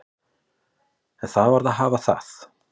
En það varð að hafa það.